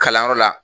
Kalanyɔrɔ la